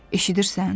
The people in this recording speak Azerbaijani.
Eşidirsən?